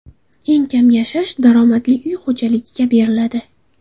Eng kam yashash daromadi uy xo‘jaligiga beriladi.